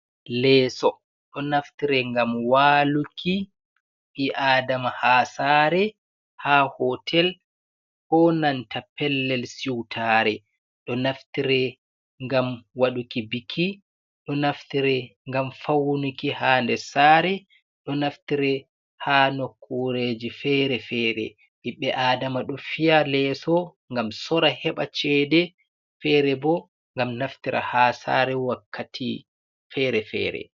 Leeso, ɗo naftire ngam waluki, ɓi adama ha sare, ha hotel, ko nanta pellel siutare, ɗo naftire ngam waɗuki biki, ɗo naftire ngam fawnuki ha nder sare, ɗo naftire ha nokkureji fere-fere, ɓiɓbe adama ɗo fiya leeso ngam sorra heɓa ceede, fere bo ngam naftira ha sare wakkati fere fere.